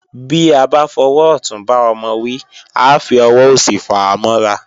Bí a bá fọwọ́ ọ̀tún bá ọmọ wí, a fi ọwọ́ òsì fàá mọ́ra